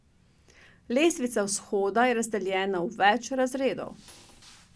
Lestvica vzhoda je razdeljena v več razredov.